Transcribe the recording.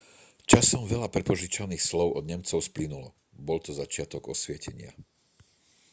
časom veľa prepožičaných slov od nemcov splynulo bol to začiatok osvietenia